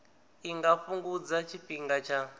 i nga fhungudza tshifhinga tsha